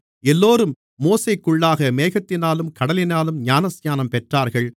எல்லோரும் மோசேக்குள்ளாக மேகத்தினாலும் கடலினாலும் ஞானஸ்நானம் பெற்றார்கள்